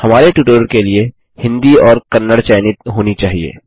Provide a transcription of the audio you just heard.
हमारे ट्यूटोरियल के लिए हिन्दी और कन्नड़ चयनित होनी चाहिए